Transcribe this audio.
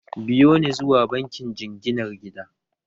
Biyo ni zuwa bankin jinginar gida!